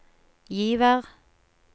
Givær